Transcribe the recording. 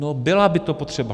No byla by to potřeba.